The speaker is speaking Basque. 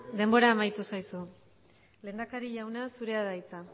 denbora amaitu zaizu lehendakari jauna zurea da hitza